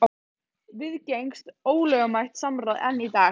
Viðgengst ólögmætt samráð enn í dag?